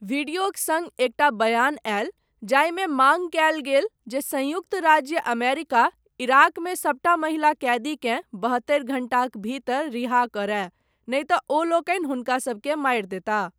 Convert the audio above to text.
वीडियोक सङ्ग एकटा बयान आयल, जाहिमे माङ्ग कयल गेल जे, सन्युक्त राज्य अमेरिका, इराकमे सबटा महिला कैदीकेँ, बहत्तरि घण्टाक भीतर रिहा करय, नहि तँ ओलोकनि हुनका सबकेँ मारि देताह।